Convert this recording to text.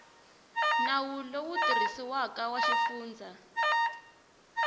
nawu lowu tirhisiwaka wa xifundza